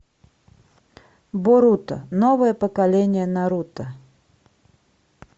боруто новое поколение наруто